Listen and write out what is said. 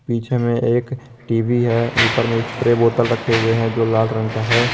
पीछे में एक टी_वी है ऊपर में स्प्रे बोतल रखे हुए हैं जो लाल रंग का है।